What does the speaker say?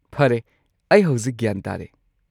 ꯐꯔꯦ, ꯑꯩ ꯍꯧꯖꯤꯛ ꯒ꯭ꯌꯥꯟ ꯇꯥꯔꯦ꯫